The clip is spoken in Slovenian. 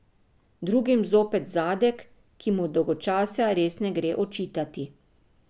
Drugim zopet zadek, ki mu dolgočasja res ne gre očitati.